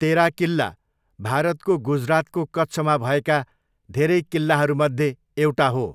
तेरा किल्ला, भारतको गुजरातको कच्छमा भएका धेरै किल्लाहरूमध्ये एउटा हो।